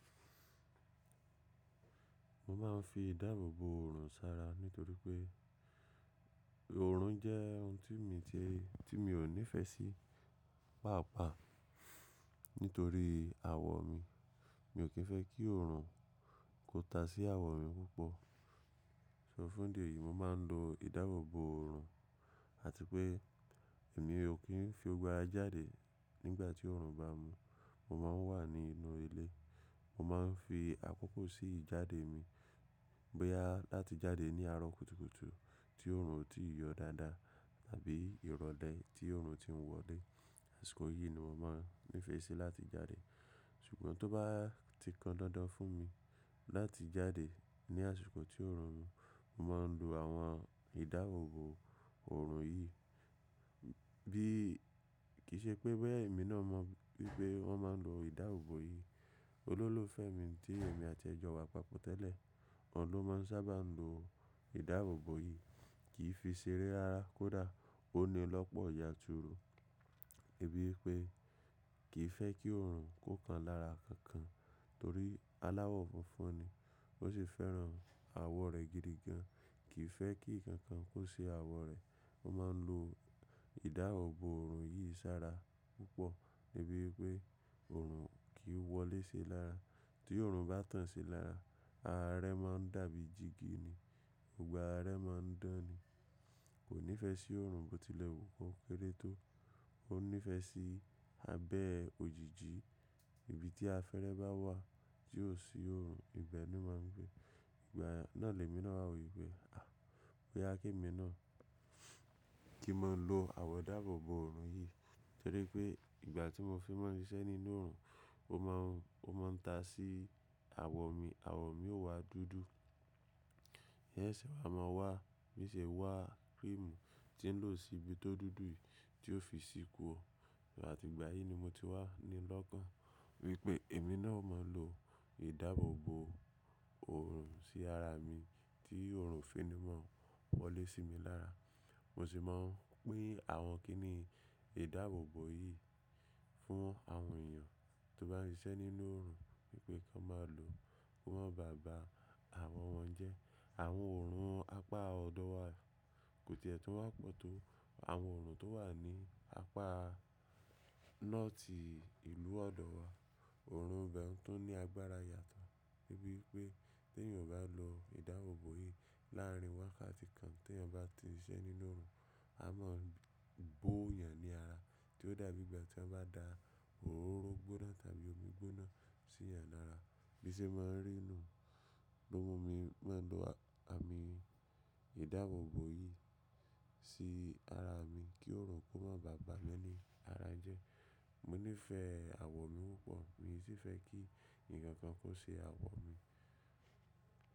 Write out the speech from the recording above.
Mo máa ń fi ìdáàbò bo òrùn ṣára nítorí pé òrùn jẹ́ ohun tí mi ò ní ìfẹ́ sí pàápàá nítorí àwọ̀ mi. Mi ò kí ń fẹ́ kí òrùn kó ta sí àwọ̀ mi púpọ̀. So fún di èyí, mo máa ń lo ìdáàbò bo òrùn àti pé èmi ò kí ń fi gbogbo ara jáde nígbà tí òrùn bá mu. Mo máa ń wà nínú ilé. Mo máa ń fi àkókò sí jáde mi bóyá láti jáde ní àárọ̀ kùtùkùtù tí òrùn ò tí yọ dáadáa tàbí ìrọ̀lẹ́ tí òrùn ti ń wọlé. Àṣìkò yìí ni mo máa ń nífẹ̀ẹ́ sí láti jáde. Ṣùgbọ́n tó bá ti kan dandan fún mi láti jáde ní àsìkò tí òrùn mú, mo máa ń lo àwọn ìdáàbò bo òrùn yìí. Kìí se pé bóyá èmi náà máa wí pé bóyá wọn máa lo ìdáàbòbò yìí. Olólùfẹ́ mi tí èmi àti ẹ̀ jọ wà papọ̀ tẹ́lẹ̀, òhun ló máa ń sábà lo ìdáàbò bo yìí kì í fi ṣeré ara kódà. Ó ní lọ̀pọ̀ yanturu, débi wípé kì í fẹ́ kí òrùn kó kan lára kankan torí aláwọ̀ funfun ni. Ósì fẹ́ràn àwọ̀ rẹ̀ gidi gan. Kì í fẹ́ kí ǹkan kan kó ṣe àwọ̀ rẹ̀. Ó máa ń lo ìdáàbò bo òrùn yìí ṣára púpọ̀ débi wípé òrùn kì í wọlé sí i lára. Tí òrùn bá tàn sí i lára, ara rẹ̀ máa ń dàbí jìgì ni. Gbogbo ara rẹ̀ máa ń dán ni. Kò nífẹ̀ẹ́ sí òrùn bóléti lè kó kéré tó. Ó ní ìfẹ́ sí abẹ́ òjíjí. Ibi tí afẹ́rẹ́ bá wà tí ò sí òrùn, ibẹ̀ ni wọ́n máa ń gbé. Ìgbà náà lè mi náà wí pé à, bóyá kí èmi náà kí n máa lo àwọn ìdáàbò bo òrùn yìí torí pé ìgbà tí mo fi ń máa ń siṣẹ́ nínú òrùn, ó máa ń ta sí àwọ̀ mi, àwọ̀ mi ó wá dúdú. Ń sẹ̀sẹ̀ wa máa wá, bi sì wá cream tí ń lò sí ibi tó dúdú yìí tí ó fi sí kúrò àti ìgbà yìí ni mo ti wá ní lọ́kàn wípé èmi náà ó máa ń lo ìdáàbò bo òrùn sí ara mi tí òrùn fi ní máa wọlé sí mi lára. Mo sì máa ń pín àwọn kíní ìdáàbò bo yìí fún àwọn èèyàn tó bá ń ṣiṣẹ́ nínú òrùn wípé kí wọ́n máa lo kí wọ́n má bàa ba àwọ̀ wọn jẹ́. Àwọn òrùn apá ọ̀dọ̀ wa kò tiẹ̀ tún wá pọ̀ tó. Àwọn òrùn tó wà ní apá north ìlú ọ̀dọ̀ wa. Òrùn bẹ́ẹ̀ tó ní agbára yàtọ̀ débi wípé tí èèyàn bá lo ìdáàbò bo yìí láàrin wákàtí kan tí èèyàn bá ti ń ṣiṣẹ́ nínú òrùn, a máa ń bó èèyàn ní ara, tí ó dàbí ìgbà tí wọ́n bá da òróró gbóná tàbí omi gbóná sí ẹ̀yàn lára. Bí ó ṣe máa rí nu, àmì ìdáàbòbò yìí sí ara mi kí òrùn kó máa bàmí ní ara jẹ́. Mo nífẹ̀ẹ́ àwọ̀ mi púpọ̀ mi sì fẹ́ kí ǹkan kan kó ṣe àwọ̀ mi.